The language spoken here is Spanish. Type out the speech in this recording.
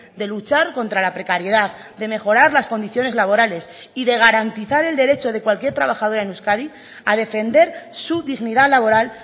de luchar contra la precariedad de mejorar las condiciones laborales y de garantizar el derecho de cualquier trabajadora en euskadi a defender su dignidad laboral